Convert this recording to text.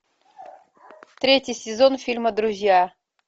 третий сезон фильма друзья